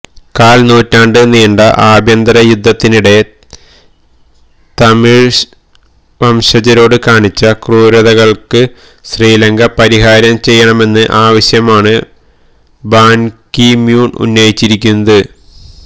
കാല് നൂറ്റാണ്ട് നീണ്ട ആഭ്യന്തര യുദ്ധത്തിനിടെ തമിഴ്വംശജരോട് കാണിച്ച ക്രൂരതകള്ക്ക് ശ്രീലങ്ക പരിഹാരം ചെയ്യണമെന്ന ആവശ്യമാണ് ബാന്കിമൂണ് ഉന്നയിച്ചിരിക്കുന്നത്